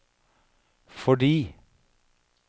fordi